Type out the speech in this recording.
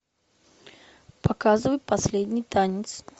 показывай последний танец